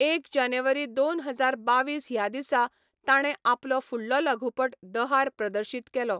एक जानेवारी दोन हजार बावीस ह्या दिसा ताणें आपलो फुडलो लघुपट दहार प्रदर्शीत केलो.